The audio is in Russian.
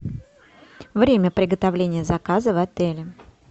время приготовления заказа в отеле